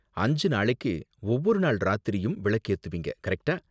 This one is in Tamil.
அஞ்சு நாளைக்கு ஒவ்வொரு நாள் ராத்திரியும் விளக்கு ஏத்துவீங்க, கரெக்ட்டா?